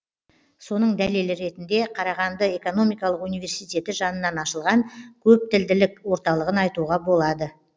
соның дәлелі ретінде қарағанды экономикалық университеті жанынан ашылған көптілділік орталығын айтуға болады